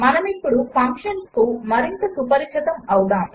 మనమిప్పుడు ఫంక్షన్స్కు మరింత సుపరిచితమవుదాము